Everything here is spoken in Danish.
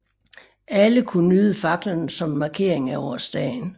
Alle kunne nyde faklerne som en markering af årsdagen